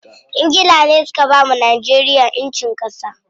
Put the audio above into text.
Ingila ne suka bawa Najeriya ƴancin ƙasa.